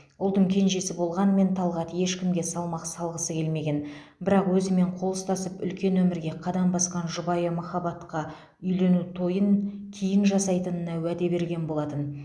ұлдың кенжесі болғанмен талғат ешкімге салмақ салғысы келмеген бірақ өзімен қол ұстасып үлкен өмірге қадам басқан жұбайы махаббатқа үйлену тойын кейін жасайтынына уәде берген болатын